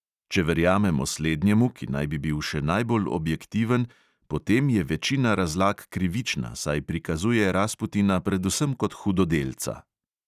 Če verjamemo slednjemu, ki naj bi bil še najbolj objektiven, potem je večina razlag krivična, saj prikazuje rasputina predvsem kot hudodelca.